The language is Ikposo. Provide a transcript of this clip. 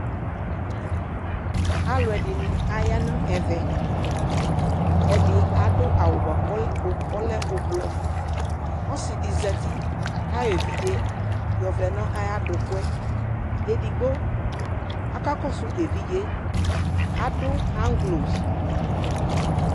Alʋɛdɩnɩ aya nʋ ɛvɛ Ɛdɩ adʋ awʋ bʋa kʋ ɔlɛ ʋb ʋblɔ Ɔsɩ dɩ zati kʋ ayɔ evidze yɔvlɛ nʋ ayʋ adʋkʋ yɛ Edigbo akakɔsʋ evidze yɛ Adʋ ɣaŋgloz